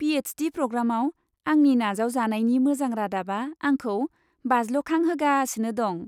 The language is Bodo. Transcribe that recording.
पि.एच.डि. प्रग्रामाव आंनि नाजावजानायनि मोजां रादाबा आंखौ बाज्ल'खांहोगासिनो दं।